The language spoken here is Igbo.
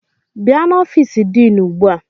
Bịa n'ofiisi diinu ugbu a!